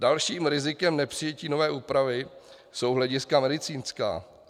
Dalším rizikem nepřijetí nové úpravy jsou hlediska medicínská.